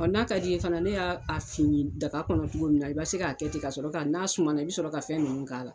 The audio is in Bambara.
N'a ka d'i ye fana ne y'a fin daga kɔnɔ cogo min na i bɛ se k'a kɛ ten ka sɔrɔ ka n'a sumana i bɛ sɔrɔ ka fɛn ninnu k'a la